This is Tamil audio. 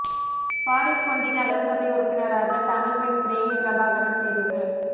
பாரிஸ் பொண்டி நகரசபை உறுப்பினராக தமிழ் பெண் பிரேமி பிரபாகரன் தெரிவு